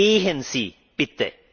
Gehen Sie, bitte!